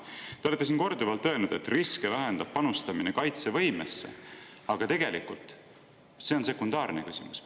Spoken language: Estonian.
Te olete siin korduvalt öelnud, et riske vähendab panustamine kaitsevõimesse, aga tegelikult on see sekundaarne küsimus.